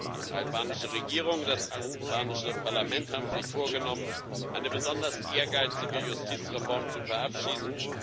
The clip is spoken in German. Die albanische Regierung und das albanische Parlament haben sich vorgenommen, eine besonders ehrgeizige Justizreform zu verabschieden.